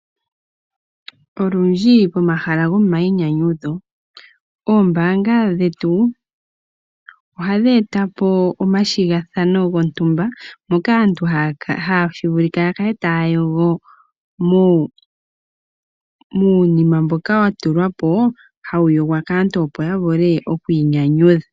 Olundji pomahala gomainyanyudho oombanga dhetu ohadhi eta po omathigathano gontumba moka aantu tashi vulika ya kale taya yogo muunima mboka wa tulwa po hawu yogwa kaantu opo ya vule okwiinyanyudha.